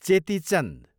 Cheti Chand